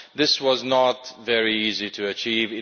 This was not very easy to achieve.